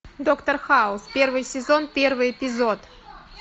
доктор хаус первый сезон первый эпизод